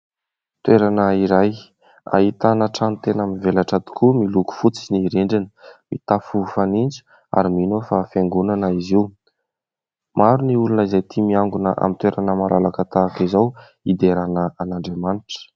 Toerana iray ahitana trano tena mivelatra tokoa miloko fotsy ny rindrina, mitafo fanitso ary mino aho fa fiangonana izy io. Maro ny olona izay tia miangona amin'ny toerana malalaka tahaka izao hiderana an'Andriamanitra.